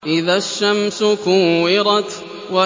إِذَا الشَّمْسُ كُوِّرَتْ